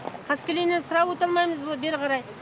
қаскелеңнен сірә өте алмаймыз бері қарай